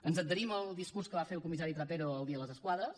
ens adherim al discurs que va fer el comissari trapero el dia de les esquadres